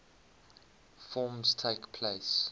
forms takes place